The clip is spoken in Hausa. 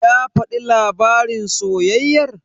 Ya faɗi labarin soyayyar?